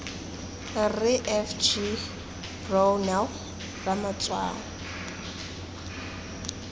rre f g brownell ramatshwao